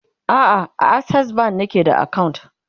a'a a akses bank nake da akawunt